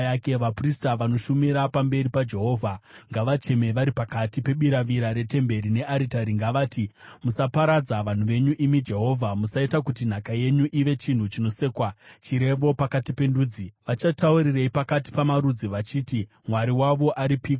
Vaprista vanoshumira pamberi paJehovha ngavacheme vari pakati pebiravira retemberi nearitari. Ngavati, “Musaparadza vanhu venyu, imi Jehovha. Musaita kuti nhaka yenyu ive chinhu chinosekwa, chirevo pakati pendudzi. Vachataurirei pakati pamarudzi vachiti, ‘Mwari wavo aripiko?’ ”